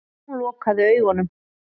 Hún lokaði augunum.